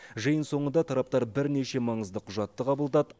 жиын соңында тараптар бірнеше маңызды құжатты қабылдады